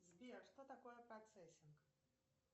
сбер что такое процессинг